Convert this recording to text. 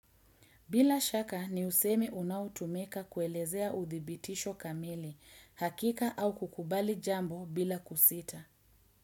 Bila shaka ni usemi unaotumika kuelezea uthibitisho kamili, hakika au kukubali jambo bila kusita.